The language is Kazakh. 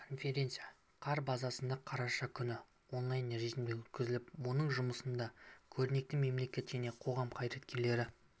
конференция қар базасында қараша күні онлайн режімде өткізіліп оның жұмысына көрнекті мемлекет және қоғам қайраткерлері